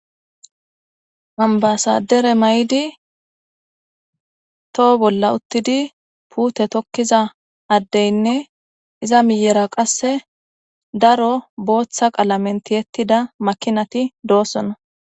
Anbasadere may'idi toho bolla uttidi puute tokkiza addeynne iza miyera qasse daro booththa qalamenti ettida makinati doossona.